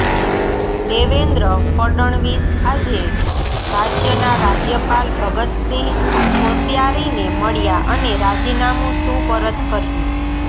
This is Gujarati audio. દેવેન્દ્ર ફડણવીસ આજે રાજ્યના રાજ્યપાલ ભગતસિંહ કોશ્યારીને મળ્યા અને રાજીનામું સુપરત કર્યું